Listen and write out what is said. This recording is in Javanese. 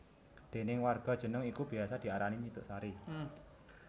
Déning warga jeneng iku biyasa diarani Nyi Tuk Sari